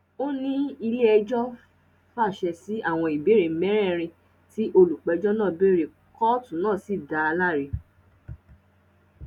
ó ní iléẹjọ fàṣẹ sí àwọn ìbéèrè mẹrẹẹrin tí olùpẹjọ náà béèrè kóòtù náà sì dá a láre